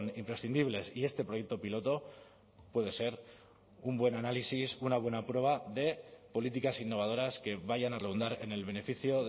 imprescindibles y este proyecto piloto puede ser un buen análisis una buena prueba de políticas innovadoras que vayan a redundar en el beneficio